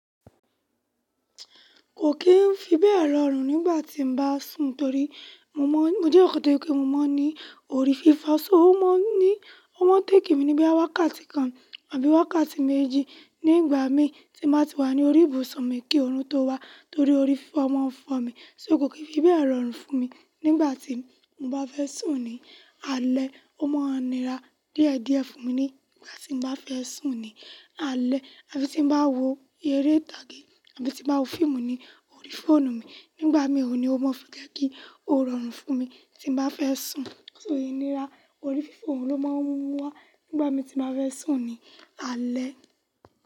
Kò kì í fi bẹ́ẹ̀ rọrùn nígbà tí m bá sùn torí mo mọ́, mo jẹ́ èyàn kan tó je pé mo mọ́ ní orí fifo fífọ̀, so ó máa ń ní, ó máa ń take mi ní bí i wákàtí kan àbí wákàtí méjì nígbà mi tí màá ti wà ní orí ìbùsùn mi kí oòrùn tó wá torí orí fífọ́ máa ń fọ mi. So kò kì í fi bẹ́ẹ̀ rọrùn fún mi nígbà tí mo bá fẹ́ sùn ní alẹ́. Ó máa ń nira díẹ̀ díẹ̀ fún mi nígbà tí mo bá fẹ́ sùn ní alẹ́ àbí tí bá wo eré ìtàgé àbí tí bá wo fíìmù ní orí fóònù mi. Nígbà mi òní o máa ń fi jẹ́ kí o rọrùn fún mi tí bá fẹ́ sùn. So ìníra orí fífọ̀ oun ló máa ń mú wá nígbà mi tí n bá fẹ́ sùn ní alẹ́.